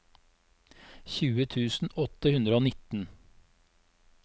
tjue tusen åtte hundre og nitten